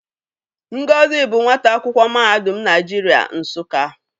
Ngozi bụ nwata akwụkwọ Mahadum Naịjirịa Nsụka.